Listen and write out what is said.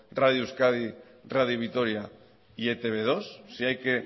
radio euskadi radio vitoria y etb dos si hay que